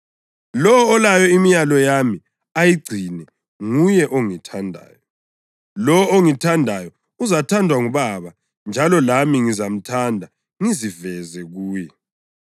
Lowo olayo imilayo yami, ayigcine, nguye ongithandayo. Lowo ongithandayo uzathandwa nguBaba njalo lami ngizamthanda ngiziveze kuye.”